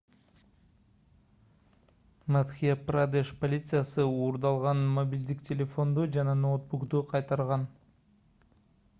мадхья-прадеш полициясы уурдалган мобилдик телефонду жана ноутбукту кайтарган